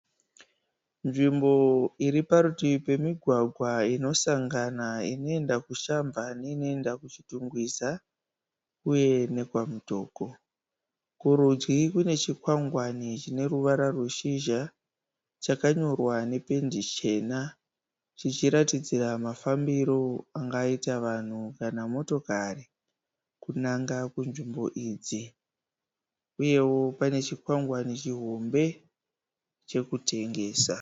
Nzvimbo iriparutivi pemigwagwa inosangana inoenda kuShamva neinoenda kuChitungwiza, uye nekwaMutoko. Kuridyi kune chikwangwani chineruvara rweshizha chakanyorwa nependi chena chichiratidzira mafambiro angaita vanhu kana motokari kunanga kunzvimbo idzi, uyewo pane chikwangwani chihombe chekutengesa.